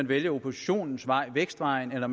vælge oppositionens vej vækstvejen eller